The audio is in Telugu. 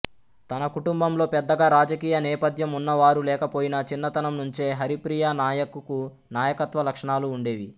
తన కుటుంబంలో పెద్దగా రాజకీయ నేపథ్యం ఉన్నవారు లేకపోయినా చిన్నతనం నుంచే హరిప్రియా నాయక్ కు నాయకత్వ లక్షణాలు ఉండేవి